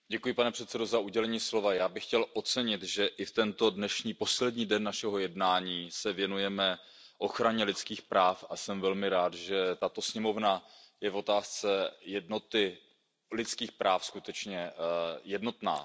Pane předsedající, já bych chtěl ocenit, že i tento dnešní poslední den našeho jednání se věnujeme ochraně lidských práv, a jsem velmi rád, že tato sněmovna je v otázce jednoty lidských práv skutečně jednotná.